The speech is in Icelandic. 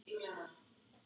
Mótmæli í Osló